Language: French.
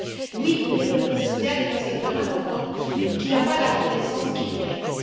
Oui, l'économie sociale est un secteur important qui n'a pas la reconnaissance qu'il mérite.